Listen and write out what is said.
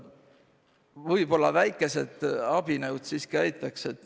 Võib-olla väikesed abinõud siiski aitaks.